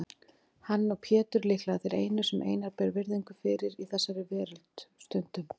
Hann og Pétur líklega þeir einu sem Einar ber virðingu fyrir í þessari veröld, stundum